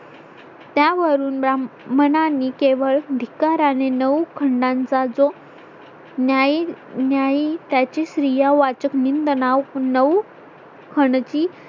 त्यावरून ब्राहमनाने केवळ धिक्काराने नऊ खंडांचा जो न्याय, न्याई त्याची स्त्रियावाचक निंदणाव नऊ हनती